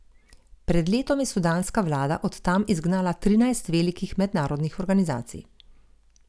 Pred letom je sudanska vlada od tam izgnala trinajst velikih mednarodnih organizacij.